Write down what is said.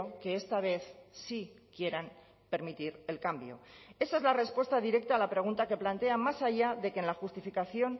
que esta vez sí quieran permitir el cambio esa es la respuesta directa a la pregunta que plantea más allá de que en la justificación